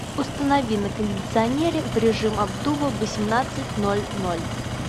установи на кондиционере в режим обдува в восемнадцать ноль ноль